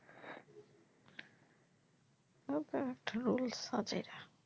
ওটা তো rules আছেই